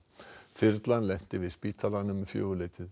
þyrlan lenti við spítalann um fjögur leytið